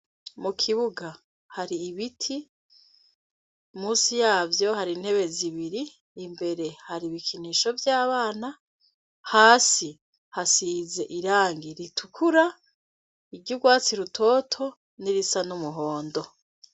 Mukibuga hari ibiti. Musi yavyo har'intebe zibiri , imbere hari ibikinisho vy'abana , hasi hasize irangi ritukura , iry'ugwatsi rutoto n'irisa n'umuhondo.